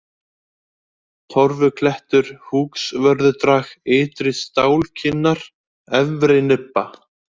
Torfuklettur, Húksvörðudrag, Ytri-Stálkinnar, Efri-Nibba